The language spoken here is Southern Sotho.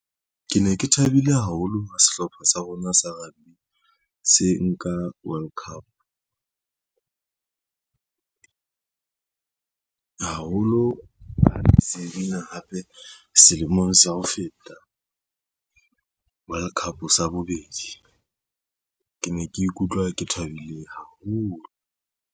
Ke ne ke thabile haholo ha sehlopha sa rona sa rugby se nka World Cup. Haholo ha ne se win-a hape selemong sa ho feta World Cup sa bobedi, ke ne ke ikutlwa ke thabile haholo.